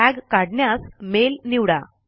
tag काढण्यास mail निवडा